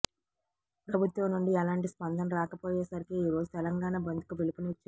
ప్రభుత్వం నుండి ఎలాంటి స్పందన రాకపోయేసరికి ఈరోజు తెలంగాణ బంద్ కు పిలుపునిచ్చారు